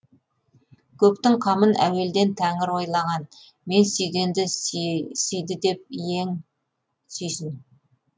көптің қамын әуелден тәңір ойлаған мен сүйгенді сүйді деп иең сүйсін